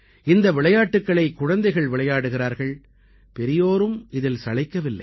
இந்த விளையாட்டுக்களை குழந்தைகள் விளையாடுகிறார்கள் பெரியோரும் இதில் சளைக்கவில்லை